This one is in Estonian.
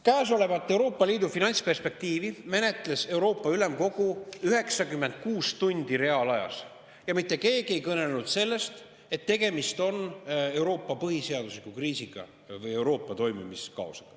Käesolevat Euroopa Liidu finantsperspektiivi menetles Euroopa Ülemkogu 96 tundi reaalajas ja mitte keegi ei kõnelenud sellest, et tegemist on Euroopa põhiseaduslikkuse kriisiga või et Euroopa toimimine on kaoses.